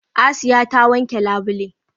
Asiya ta wanke labule.